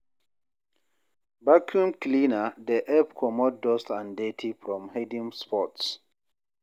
Vaccume cleaner dey help comot dust and dirty from hidden spots